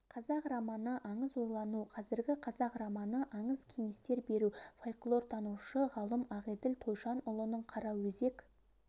қазақ романы аңыз ойлану қазіргі қазақ романы аңыз кеңестер беру фольклортанушы ғалым ақелділ тойшанұлының қараөзек